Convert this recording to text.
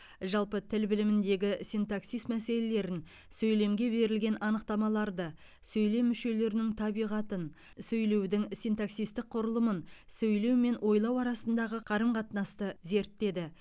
жалпы тіл біліміндегі синтаксис мәселелерін сөйлемге берілген анықтамаларды сөйлем мүшелерінің табиғатын сөйлеудің синтаксистік құрылымын сөйлеу мен ойлау арасындағы қарым қатынасты зерттеді